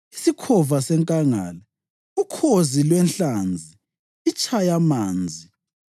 isikhova senkangala, ukhozi lwenhlanzi, itshayamanzi,